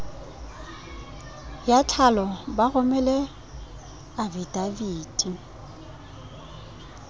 ya tlhalo ba romele afidaviti